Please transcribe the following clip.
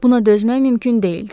Buna dözmək mümkün deyildi.